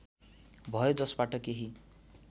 भयो जसबाट केही